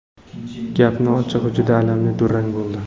Gapni ochig‘i, juda alamli durang bo‘ldi.